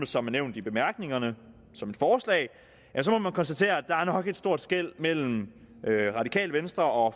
som er nævnt i bemærkningerne som et forslag så må man konstatere at der nok er et stort skel mellem radikale venstre og